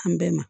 An bɛɛ ma